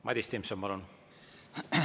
Madis Timpson, palun!